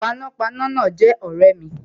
Panápaná náà jé ọ̀rẹ́ mi